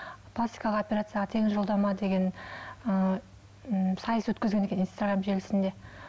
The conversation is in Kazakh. пластикалық операцияға тегін жолдама деген ы м сайыс өткізген екен инстаграм желісінде